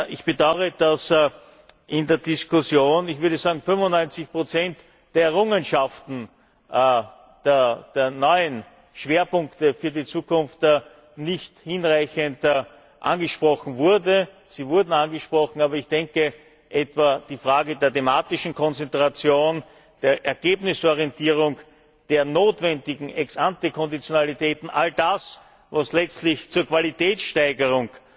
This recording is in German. Ich bedaure, dass in der Diskussion ich würde sagen 95 der Errungenschaften, der neuen Schwerpunkte für die Zukunft nicht hinreichend angesprochen wurden. Sie wurden angesprochen, aber ich denke, etwa die Frage der thematischen Konzentration, der Ergebnisorientierung, der notwendigen Ex ante Konditionalitäten, all das, was letztlich zur Qualitätssteigerung